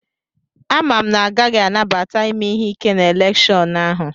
Amam na a gaghị anabata ime ihe ike na elèkshón ahu